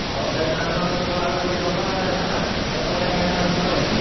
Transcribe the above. ହାୱା ଆଈକ୍ଷିଣା ହାୱା କିଛି ଦରକାର ନାହି ନା ଦରକାର ନାହି ହାୱା ଦବନି ନା।